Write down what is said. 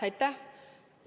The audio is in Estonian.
Aitäh!